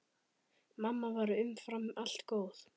Mamma var umfram allt góð.